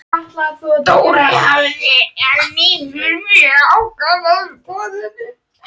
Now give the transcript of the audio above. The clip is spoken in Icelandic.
Dóra hafði að vísu mjög ákveðnar skoðanir.